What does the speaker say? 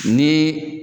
Ni